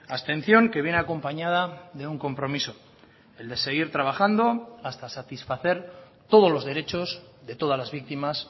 abstención que viene acompañada de un compromiso el de seguir trabajando hasta satisfacer todos los derechos de todas las víctimas